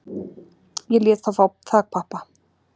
Ég lét þá fá þakpappa